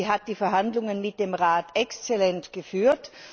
Sie hat die Verhandlungen mit dem Rat exzellent geführt.